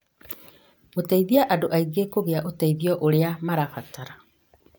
gũteithia andũ aingĩ kũgĩa ũteithio ũrĩa marabatara